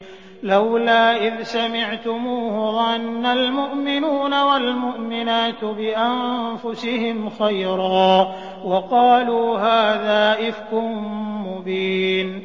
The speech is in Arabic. لَّوْلَا إِذْ سَمِعْتُمُوهُ ظَنَّ الْمُؤْمِنُونَ وَالْمُؤْمِنَاتُ بِأَنفُسِهِمْ خَيْرًا وَقَالُوا هَٰذَا إِفْكٌ مُّبِينٌ